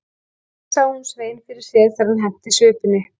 Um leið sá hún Svein fyrir sér þegar hann henti svipunni.